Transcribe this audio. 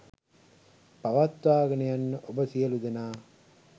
පවත්වාගෙන යන්න ඔබ සියලුදෙනා